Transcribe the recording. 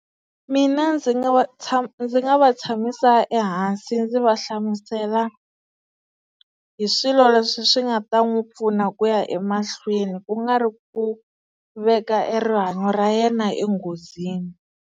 Mina ndzi nga va ndzi nga va tshamisa ehansi ndzi va hlamusela hi swilo leswi swi nga ta n'wi pfuna ku ya emahlweni ku nga ri ku veka e rihanyo ra yena enghozini.